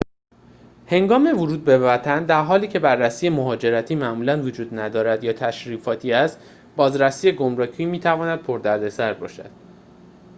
هنگام ورود به وطن در حالی که بررسی مهاجرتی معمولاً وجود ندارد یا تشریفاتی است بازرسی گمرکی می‌تواند پردردسر باشد